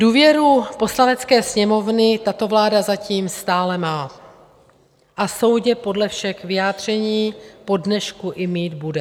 Důvěru Poslanecké sněmovny tato vláda zatím stále má, a soudě podle všech vyjádření po dnešku, i mít bude.